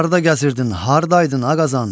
Harda gəzirdin, hardaydın ağazadan?